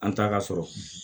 An taa ka sɔrɔ